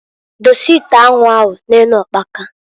Dose ite anwu ahụ na-enu ukpaka.